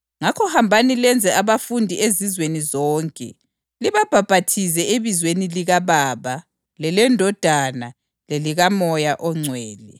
Ngakho hambani lenze abafundi ezizweni zonke, libabhaphathize ebizweni likaBaba, leleNdodana lelikaMoya oNgcwele,